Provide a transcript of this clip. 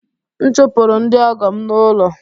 M chụpụrụ ndị ọgọ m n’ụlọ